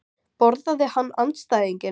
Borðaði hann andstæðinginn?